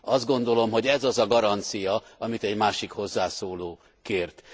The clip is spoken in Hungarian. Azt gondolom, hogy ez az a garancia, amit egy másik hozzászóló kért.